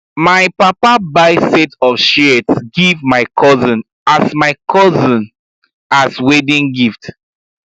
my papa buy set of shears give my cousin as my cousin as wedding gift